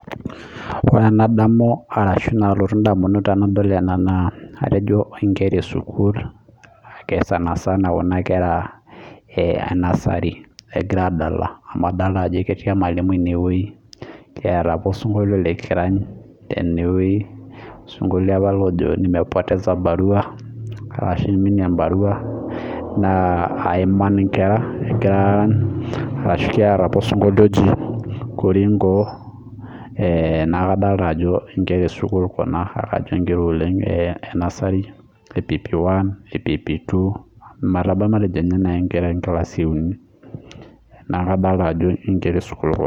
Wore enadamu arashu nalotu indamunot tenadol ena naa atejo inkera esukuul ake sanisana kuna kera e nursery ekira aadala, amu adoolta ajo ketii emalimui inewoji, keeta apa osinkolio likirany tenewoji. Osinkolio apa lojo, nimepoteza barua, arashu aiminie embarua naa aiman inkera ekira aarany, neeta pa asinkolie oji korinkoo, neeku kadoolta ajo inkera esukuul kuna naa kajo inkera oleng' e nasari e pp1 eeh pp2 ometabau matejo ninye nai inkera enkilasi euni. Neeku adoolta ajo inkera esukuul kuna